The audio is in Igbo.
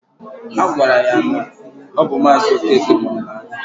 Agwara ya na ọ bụ maazi Okeke nwe ala ahụ